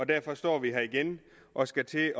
derfor står vi her igen og skal til